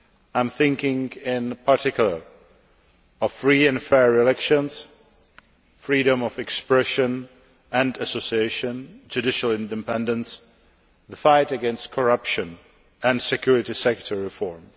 I am thinking, in particular, of free and fair elections, freedom of expression and association, judicial independence, the fight against corruption and security sector reform.